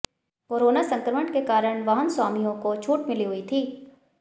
corona संक्रमण के कारण वाहन स्वामियों को छूट मिली हुई थी